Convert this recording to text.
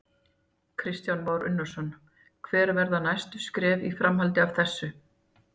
Kristján Már Unnarsson: Hver verða næstu skref í framhaldi af þessu?